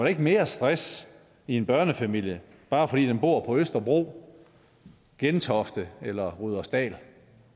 ikke mere stress i en børnefamilie bare fordi den bor på østerbro i gentofte eller i rudersdal